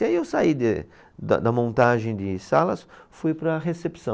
E aí eu saí de, da da montagem de salas, fui para a recepção.